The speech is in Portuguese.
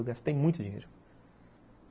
Eu gastei muito dinheiro.